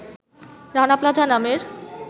Rana plaza নামের